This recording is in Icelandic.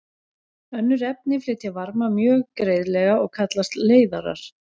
Önnur efni flytja varma mjög greiðlega og kallast leiðarar.